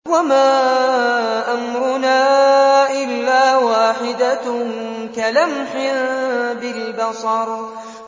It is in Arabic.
وَمَا أَمْرُنَا إِلَّا وَاحِدَةٌ كَلَمْحٍ بِالْبَصَرِ